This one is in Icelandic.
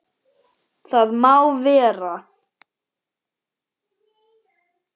Það má vera.